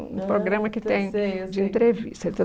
Um programa que tem, eu sei, eu sei, de entrevista.